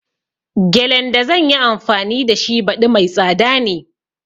Gelen da zanyi anfani da shi baɗi mai tsada ne